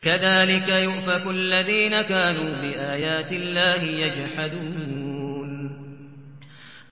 كَذَٰلِكَ يُؤْفَكُ الَّذِينَ كَانُوا بِآيَاتِ اللَّهِ يَجْحَدُونَ